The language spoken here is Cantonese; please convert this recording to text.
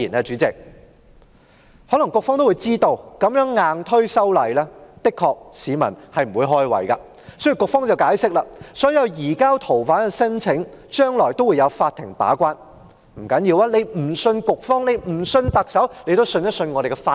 局方可能也知道，這樣硬推修例，確實令市民不快，因此局方解釋，所有移交逃犯的申請將來也會有法庭把關，即使不相信局方及特首，也可以相信我們的法庭。